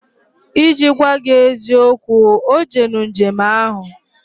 Iji gwa gi eziokwu, O jenu njem ahu